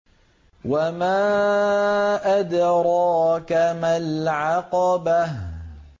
وَمَا أَدْرَاكَ مَا الْعَقَبَةُ